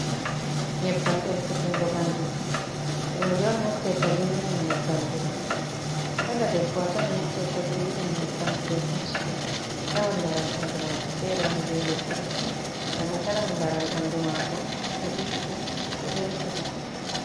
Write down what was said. Nyebbam ɗelkutungo bandu rooɓe on naftirta be irin nyebbamji ɗo kala debbo a tawi naftirta be irim nyebbamji ɗo pat a tawan laral ɓandu mako feere woni be luttuɓe ngam a tawan laral ɓandu mako ɗo ɗiggi ɗo ɗelkita.